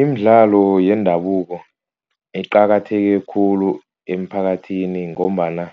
Imidlalo yendabuko iqakatheke khulu emphakathini. Ngombana